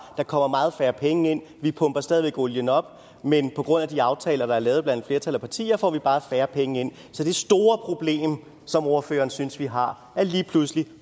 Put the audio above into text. kommer meget færre penge ind vi pumper stadig væk olien op men på grund af de aftaler der er lavet blandt et flertal af partier får vi bare færre penge ind så det store problem som ordføreren synes vi har er lige pludselig